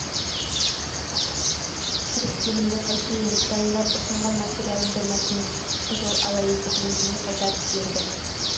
кіріскенімді қайтейін дайындап ұсынған материалымды мәкең қып қызыл ала етіп өзіме қайтарып берді